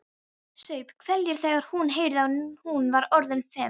Saup hveljur þegar hún heyrði að hún var orðin fimm.